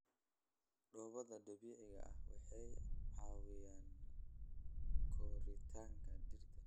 Dhoobada dabiiciga ah waxay caawiyaan koritaanka dhirta.